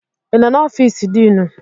Ị nọ n'ọfiisu diinu?